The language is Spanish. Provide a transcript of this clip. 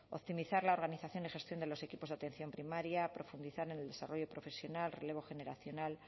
optimizar la organización y gestión de los equipos de atención primaria profundizar en el desarrollo profesional relevo generacional